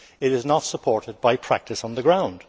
It is not supported by practice on the ground.